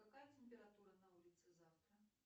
какая температура на улице завтра